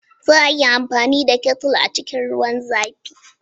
Za a iya amfani da Kettle a cikin ruwan zafi.